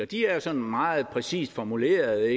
de er sådan meget præcist formuleret